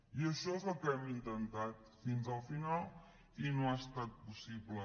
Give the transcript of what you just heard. i això és el que hem intentat fins al final i no ha estat possible